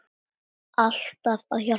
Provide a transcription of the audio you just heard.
Alltaf að hjálpa fólki.